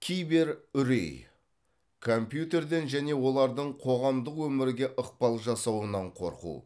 киберүрей компьютерден және олардың қоғамдық өмірге ықпал жасауынан қорқу